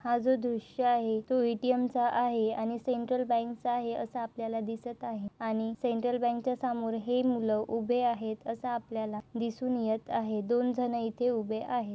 हा जो दृश्य आहे तो ए.टी.एम. चा आहे आणि सेंट्रल बँकचा आहे असं आपल्याला दिसत आहे आणि सेंट्रल बँकच्या समोर हे मुलं उभे आहेत असं आपल्याला दिसून येत आहे दोन जण इथे उभे आहे.